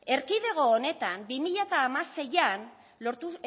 erkidego honetan bi mila hamaseian